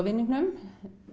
vinningnum